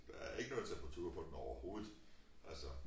Der er ikke noget temperatur på den overhovedet altså